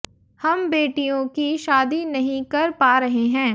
हम बेटियों की शादी नहीं कर पा रहे हैं